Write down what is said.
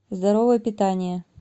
здоровое питание